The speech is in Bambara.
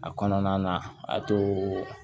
A kɔnɔna na a to